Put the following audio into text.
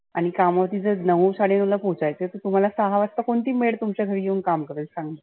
आणि कामावर नऊ साडे नऊला पोहचायच तुम्हाला सहा वाजता कोनती maid तुमच्या घरी येऊन काम करेन सांग.